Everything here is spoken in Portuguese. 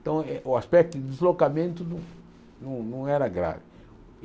Então, eh o aspecto de deslocamento não não não era grave.